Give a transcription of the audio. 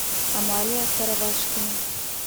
амалия каравашкина